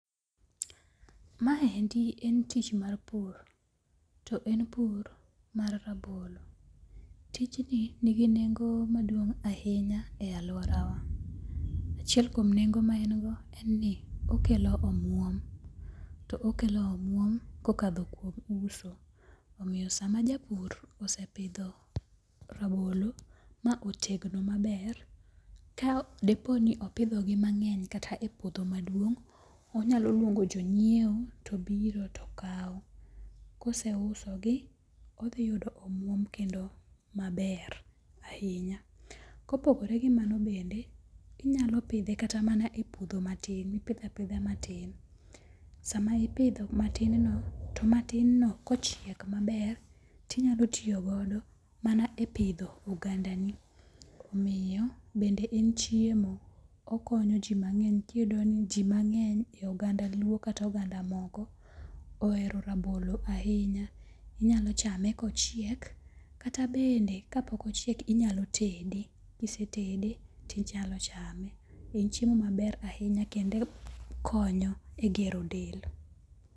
Ma endi en tich mar pur. To en pur mar rabolo. Tijni ni gi neng'o maduong' ahinya e aluorawa. Achiel kuom nengo ma en go en ni okelo omuom. To okelo omuom kokadho kuom uso. Omiyo sama japur osepidho rabolo ma otegno maber ka depo ni opidhogi mang'eny kata e puodho maduong', onyalo luongo jonyiewo to biro to kaw. Kose uso gi, odhi yudo omuom kendo maber ahinya. Kopogore gi mano bende, inyalo pidhe kata mana e puodho matin. Ipidhe apidha matin. Sama ipidho matin no to matin no kochiek maber tinyalo tiyogodo mana e pidho oganda ni. Omiyo bende en chiemo. Okonyo ji mang'eny. Iyudo ni ji mang'eny e oganda luo kata oganda moko, ohero rabolo ahinya. Inyalo chame kochiek kata bende ka pok ochiek inyalo tede. Kisetede tinyalo chame. En chiemo maber ahinya kendo konyo e gero del.